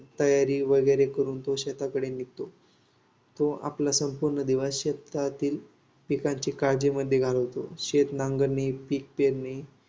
तयारी वगैरे करून तो शेताकडे निघतो. तो आपला संपूर्ण दिवस शेतातील पिकांची काळजीमध्ये घालवतो. शेतनांगरणी, पीक पेरणी